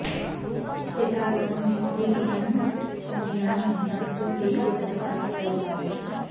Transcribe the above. यथागमं वृत्तिरियं मुनीनां भिन्नास्तु ते ते तपसां विकल्पाः